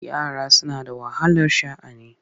Yara suna da wahalar sha'ani.